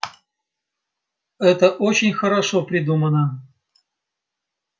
это очень хорошо придумано